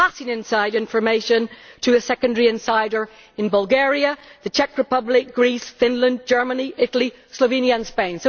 passing inside information to a secondary insider in Bulgaria, the Czech Republic, Greece, Finland, Germany, Italy, Slovenia and Spain.